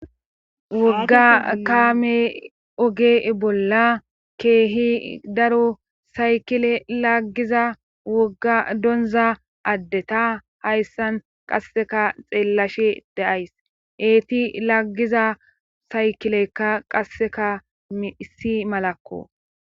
wogga kaame oge bolla keehi daro saykile laggiza wogga donza addeta hayssan qasseka xeellashe daays eeti laggiza saykilekka qasseka issi malakko